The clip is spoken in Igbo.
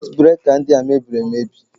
Sekit breka ndị a mebiri emebi.